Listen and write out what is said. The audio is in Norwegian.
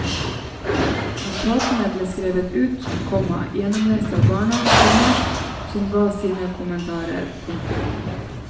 Notatene ble skrevet ut, komma gjennomlest av barna, komma som ga sine kommentarer. punktum